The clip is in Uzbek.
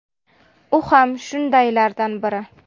U ham shundaylardan biri.